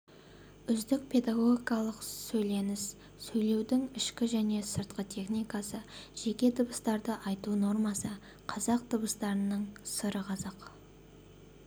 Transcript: үздік педагогикалық сөйленіс сөйлеудің ішкі және сыртқы техникасы жеке дыбыстарды айту нормасы қазақ дыбыстарының сыры қазақ